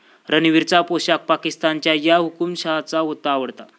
रणवीरचा पोशाख पाकिस्तानच्या 'या' हुकूमशहाचा होता आवडता